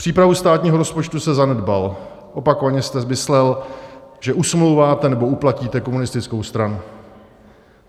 Přípravu státního rozpočtu jste zanedbal, opakovaně jste myslel, že usmlouváte, nebo uplatíte, komunistickou stranu.